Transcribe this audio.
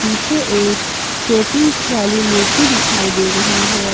पीछे एक शोपीस वाली मूर्ति दिखाई दे रही है।